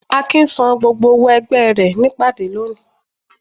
Akin sán gbógbó òwó ẹgbẹ re ní ìpàdé lóni